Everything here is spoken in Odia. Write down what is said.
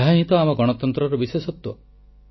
ଏହାହିଁ ତ ଆମ ଗଣତନ୍ତ୍ରର ବିଶେଷତ୍ୱ